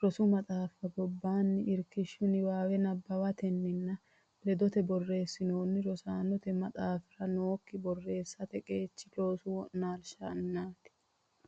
rosu maxaaffa gobbaanni irkishshu niwaawe nabbawatenni nna ledote borreessanni Rosaanote Maxaafira nookki borreessate qeechi loosi wo naalishinniiti.